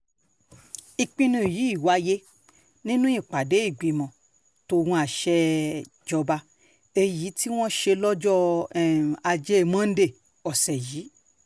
ìpinnu yìí wáyé nínú ìpàdé ìgbìmọ̀ tó ń àṣejọba èyí tí wọ́n ṣe lọ́jọ́ um ajé monde ọ̀sẹ̀ yìí um